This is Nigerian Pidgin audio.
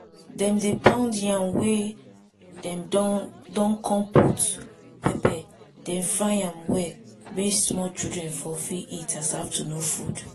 dem dey pound yam wey dem don don con put pepper den fry am well may small children for fit eat as afternoon food